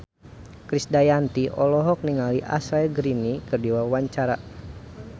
Krisdayanti olohok ningali Ashley Greene keur diwawancara